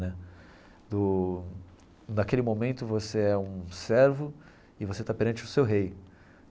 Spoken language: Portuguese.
Né do naquele momento você é um servo e você está perante o seu rei.